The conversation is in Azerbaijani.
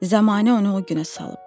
Zəmanə onu o günə salıb.